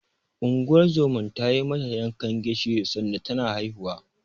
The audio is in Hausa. Unguwar zoman ta yi mata yankan gishiri sanda tana haihuwa.